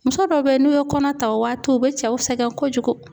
Muso dɔw be yen n'u ye kɔnɔ ta, o waati u be cɛw sɛgɛn kojugu